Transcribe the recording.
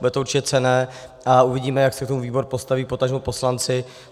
Bude to určitě cenné a uvidíme, jak se k tomu výbor postaví, potažmo poslanci.